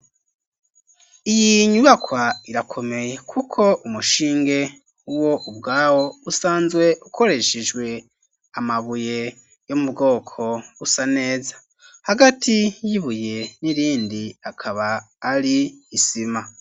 Iyi nyubakwa irakomeye kuko umushinge wo ubwawo usanzwe ukoreshejwe amabuye yo mu bwoko busa neza hagati y'ibuye n'irindi akaba ari isima.